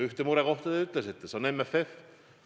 Ühe murekoha te ütlesite, see on MFF.